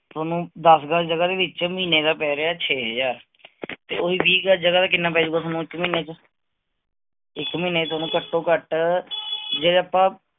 ਤੁਹਾਨੂੰ ਦਸ ਗਜ ਜਗਹ ਦੇ ਵਿਚ ਮਹੀਨੇ ਦਾ ਪੈ ਰਿਹਾ ਹੈ ਛੇ ਹਜ਼ਾਰ, ਤੇ ਉਹ ਹੀ ਵੀਹ ਗਜ ਜਗਾਹ ਦਾ ਤੁਹਾਨੂੰ ਕਿੰਨਾ ਪੈ ਜਾਊਗਾ ਇਕ ਮਹੀਨੇ ਚ, ਇਕ ਮਹੀਨੇ ਚ ਤੁਹਾਨੂੰ ਘਟ ਤੋਂ ਘਟ ਜੇ ਆਪਾ